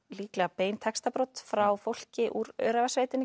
líklega bein textabrot frá fólki úr